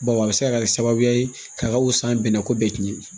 Baw a bɛ se ka kɛ sababu ye k'a ka wusa bɛnɛ ko bɛɛ tiɲɛ